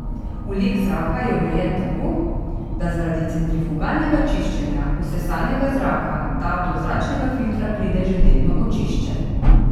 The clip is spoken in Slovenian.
Vlek zraka je urejen tako, da zaradi centrifugalnega čiščenja vsesanega zraka ta do zračnega filtra pride že delno očiščen.